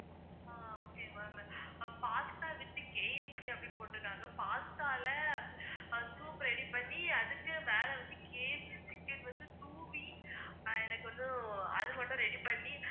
ஆஹ் okay ma'am pasta withKFC அப்படின்னு போட்ருக்காங்க. pasta ல அஹ் soup ready பண்ணி அதுக்குமேல வந்து, KFC chicken with Scooby ஆஹ் எனக்கு வந்து அதுமட்டும் ready பண்ணி